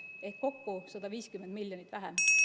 Ehk kokku laekus 150 miljonit vähem.